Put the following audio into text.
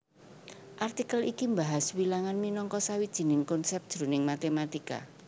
Artikel iki mbahas wilangan minangka sawijining konsèp jroning matématika